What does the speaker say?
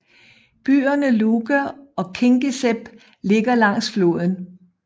Byerne Luga og Kingisepp ligger langs floden